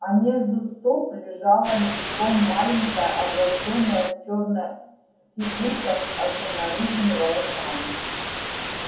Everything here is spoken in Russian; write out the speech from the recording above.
а между стоп лежала ничком маленькая облачённая в чёрное фигурка с огненно-рыжими волосами